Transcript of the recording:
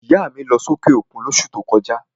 ìyá à mi lọ́ sí òkè òkun ní òṣù ti o kọjá.